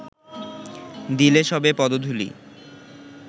দিলে সবে পদধূলি